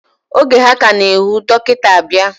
Oge ha ka na ehwu, dokita abia.